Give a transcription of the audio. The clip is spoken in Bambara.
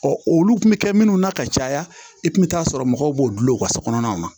olu kun bɛ kɛ minnu na ka caya i kun bɛ taa sɔrɔ mɔgɔw b'o dulon wa so kɔnɔnaw na